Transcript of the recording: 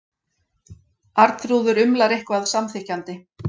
Arnþrúður umlar eitthvað samþykkjandi.